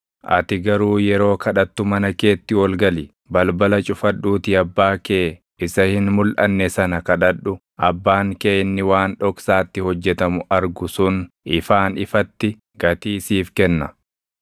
Ati garuu yeroo kadhattu mana keetti ol gali; balbala cufadhuutii Abbaa kee isa hin mulʼanne sana kadhadhu. Abbaan kee inni waan dhoksaatti hojjetamu argu sun ifaan ifatti gatii siif kenna.